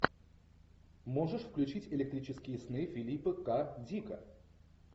можешь включить электрические сны филипа к дика